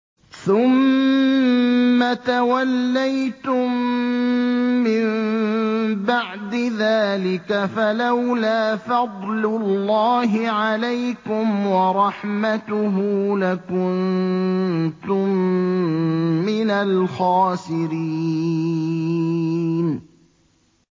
ثُمَّ تَوَلَّيْتُم مِّن بَعْدِ ذَٰلِكَ ۖ فَلَوْلَا فَضْلُ اللَّهِ عَلَيْكُمْ وَرَحْمَتُهُ لَكُنتُم مِّنَ الْخَاسِرِينَ